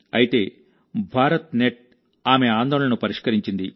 అయితేభారత్ net ఆమె ఆందోళనను పరిష్కరించింది